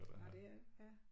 Nåh det er det ja